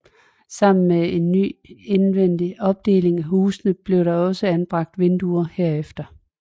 Sammen med en ny indvendig opdeling af huset blev der også anbragt vinduer herefter